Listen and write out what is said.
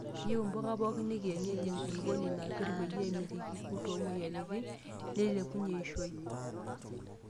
Keyieu mpuka poki ekienyeji ekulupuoni napir peyie emitiki irkurt omoyiaritin neilepunyie eishioi.